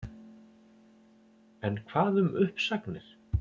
En hvað um uppsagnir?